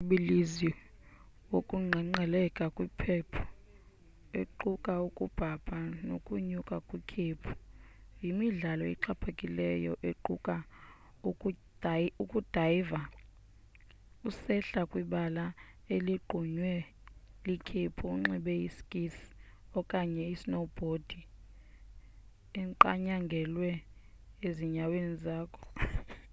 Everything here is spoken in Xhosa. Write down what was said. umtshibilizi wokuqengqeleka kwikhephu equka ukubhabha nokunyuka kwikhephu yimidlalo exhaphakileyo equka ukudayva usehla kwibala eligqunywe likhephu unxibe i skis okanye snowbhodi eqanyangelwe ezinyaweni zakho